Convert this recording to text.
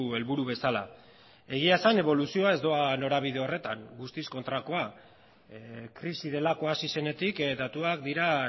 helburu bezala egia esan eboluzioa ez doa norabide horretan guztiz kontrakoa krisi delakoa hasi zenetik datuak dira